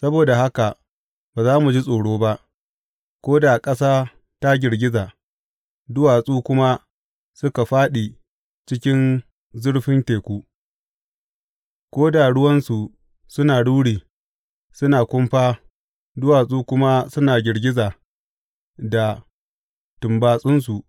Saboda haka ba za mu ji tsoro ba, ko da ƙasa ta girgiza duwatsu kuma suka fāɗi cikin zurfin teku, ko da ruwansa suna ruri suna kumfa duwatsu kuma suna girgiza da tumbatsansu.